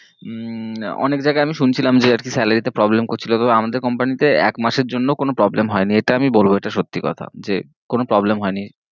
হম অনেক জায়েগেয়ে আমি শুনছিলাম যে আর কি স্যালারি তে problem করছিল কিন্তু আমাদের company তে এক মাসের জন্য ও কোনো problem হয়েনি